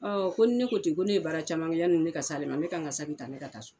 Ɔn ko ni ne ko ten, ko ne ye baara caman kɛ yani ne ka se ale ma. Ne ka n ka saki ta ka taa so.